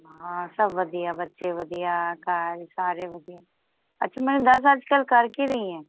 ਹਾਂ ਸਬ ਵਧੀਆ ਬੱਚੇ ਵਧੀਆ ਘਰ ਸਾਰੇ ਵਧੀਆ ਅੱਛਾ ਮੈਨੂੰ ਦੱਸ ਅੱਜ ਕੱਲ ਕਰ ਕਿ ਰਹੀਐ